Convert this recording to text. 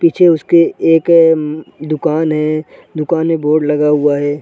पीछे उसके एक दुकान है दुकान में बोर्ड लगा हुआ हैं ।